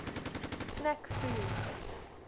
snack foods